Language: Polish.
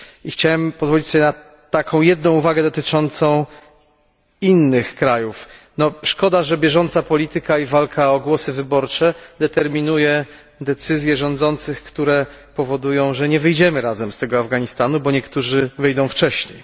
I chciałem pozwolić sobie na taką jedną uwagę dotyczącą innych krajów szkoda, że bieżąca polityka i walka o głosy wyborcze determinuje decyzje rządzących, które powodują, że nie wyjdziemy razem z tego Afganistanu, bo niektórzy wyjdą wcześniej.